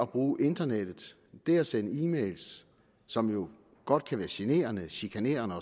bruge internettet det at sende e mails som jo godt kan være generende chikanerende